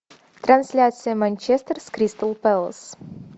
трансляция манчестер с кристал пэлас